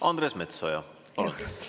Andres Metsoja, palun!